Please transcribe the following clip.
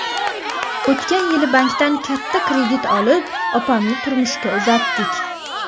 O‘tgan yili bankdan katta kredit olib, opamni turmushga uzatdik.